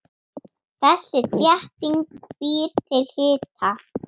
Þessi þétting býr til hita.